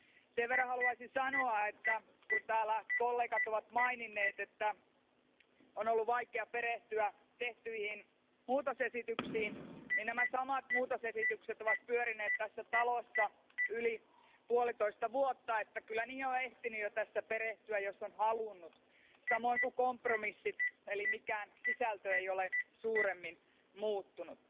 Sen verran haluaisin sanoa, että kun täällä kollegat ovat maininneet, että on ollut vaikea perehtyä tehtyihin muutosesityksiin, niin nämä samat muutosesitykset ovat pyörineet tässä talossa yli puolitoista vuotta, niin että kyllä niihin on ehtinyt jo tässä perehtyä, jos on halunnut, samoin kuin kompromissit eli mikään sisältö ei ole suuremmin muuttunut.